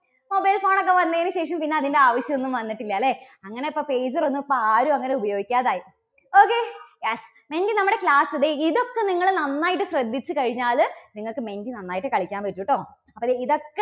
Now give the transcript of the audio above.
mobile phone ഒക്കെ വന്നതിനുശേഷം പിന്നെ അതിൻറെ ആവശ്യം ഒന്നും വന്നിട്ടില്ല അല്ലേ. അങ്ങനെ ഇപ്പോൾ pager ഒന്നും ആരും അങ്ങനെ ഉപയോഗിക്കാതായി. okay, yes എങ്കിൽ നമ്മുടെ class ദേ ഇതൊക്കെ നിങ്ങള് നന്നായിട്ട് ശ്രദ്ധിച്ചു കഴിഞ്ഞാല് നിങ്ങൾക്ക് menti നന്നായിട്ട് കളിക്കാൻ പറ്റൂട്ടോ. അപ്പോ ദേ ഇതൊ~